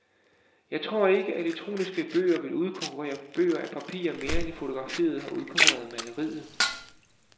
Jeg tror ikke, elektroniske bøger vil udkonkurrere bøger af papir mere end fotografiet har udkonkurreret maleriet.